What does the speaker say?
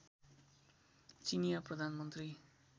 चिनियाँ प्रधानमन्त्री